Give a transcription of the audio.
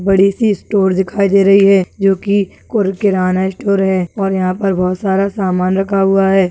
बड़ी सी स्टोर दिखाई दे रही है जो की और किराना स्टोर है और यहां पर बहुत सारा सामान रखा हुआ है।